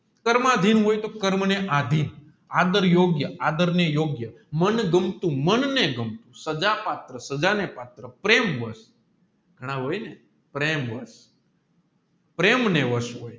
કર્માધિન હોય તો કર્મ ને આધીન આધરયોગ્ય આદર ને યોગ્ય મનગમતું મનને ગમતું ઘણા હોયને પ્રેમને વર્ષ હોય